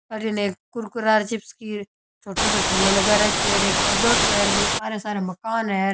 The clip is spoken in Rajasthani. अठीने एक कुरकुरा चिप्स की छोटो सो ठेला लगा रखयो है और एक पर्दों सो है और सारे मकान है।